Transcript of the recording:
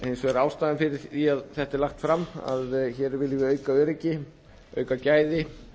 hins vegar er ástæðan fyrir því að þetta er lagt fram að hér viljum við auka öryggi auka gæði